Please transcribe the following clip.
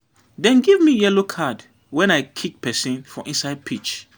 Dem give me yellow card wen I kick pesin for inside pitch.